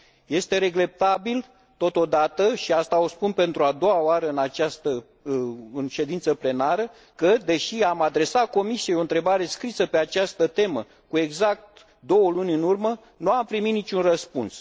Este regretabil, totodată, și asta o spun pentru a doua oară în ședință plenară că, deși am adresat Comisiei o întrebare scrisă pe această temă, cu exact două luni în urmă, nu am primit niciun răspuns.